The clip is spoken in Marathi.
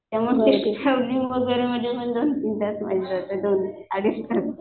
त्यामुळे ट्रॅव्हलिंग मध्ये माझे दोन तीन तास जातात दोन अडीच तास